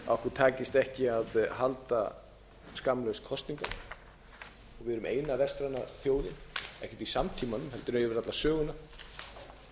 heimi takist ekki að halda skammlaust kosningu og við erum eina vestræna þjóðin ekkert í samtímanum heldur yfir alla söguna þar